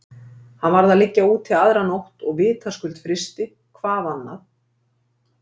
Hann varð að liggja úti aðra nótt og vitaskuld frysti, hvað annað?